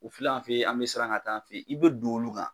O filɛ an fe yen an be siran ka t'an fe yen i be don olu kan